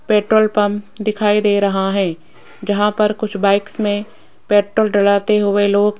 petrol pump दिखाई दे रहा है जहां पर कुछ बाइक्स में पेट्रोल डलाते हुए लोग --